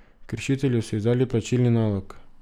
Kršitelju so izdali plačilni nalog.